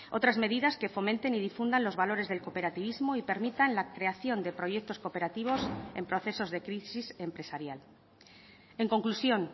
otras medidas que fomenten y difundan los valores del cooperativismo y permitan la creación de proyectos cooperativos en procesos de crisis empresarial en conclusión